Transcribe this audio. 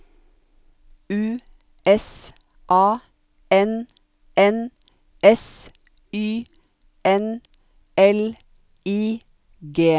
U S A N N S Y N L I G